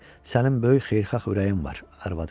Sənin böyük xeyirxah ürəyin var, arvadı dedi.